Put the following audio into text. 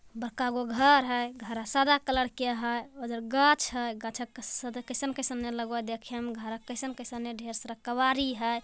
बका हुआ घर हैं । गहरा सारा कलर किया हैं । उधर गांच हैं गाछ के साथै किसम किसम के लगवा हई देखे में घरां कइसन कइसन नियर ढेर सारा कावेरी है ।